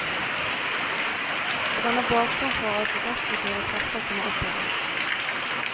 Den danner bakgrunn for at de destruktive krefter kommer opp i ham.